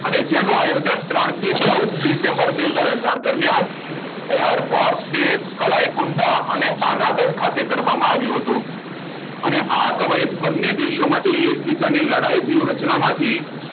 અને જેનો આયોજન ત્રણ કે ચૌદ ડિસેમ્બર બે હજાર અથાર દરમિયાન airforce base કલાઈ કુંડા શાના દરખાસ્તે કરવામાં આવ્યું હતું અને આ કવાયત બંને દેશો માટે એકબીજાને લડાય વ્યુહ રચનામાંથી